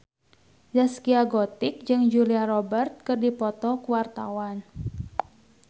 Zaskia Gotik jeung Julia Robert keur dipoto ku wartawan